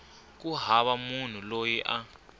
ku hava munhu loyi a